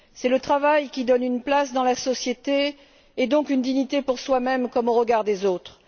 C'est le travail qui donne une place dans la société et, donc, une dignité pour soi même comme au regard des autres.